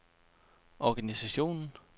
organisationen